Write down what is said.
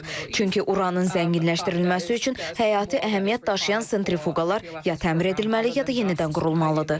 Çünki Uranın zənginləşdirilməsi üçün həyati əhəmiyyət daşıyan sentrifuqalar ya təmir edilməli, ya da yenidən qurulmalıdır.